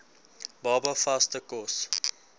baba vaste kos